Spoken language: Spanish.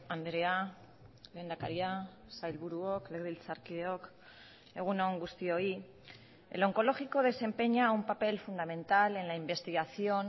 andrea lehendakaria sailburuok legebiltzarkideok egun on guztioi el oncológico desempeña un papel fundamental en la investigación